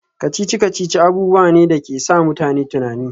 Kacici-kacici abubuwa ne da ke sa mutane tunani